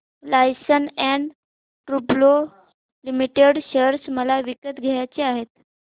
Larsen and टुर्बो limited share मला विकत घ्यायचे आहेत